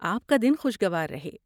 آپ کا دن خوشگوار رہے!